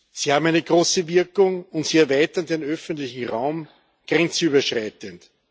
Sie haben eine große Wirkung und sie erweitern den öffentlichen Raum grenzüberschreitend.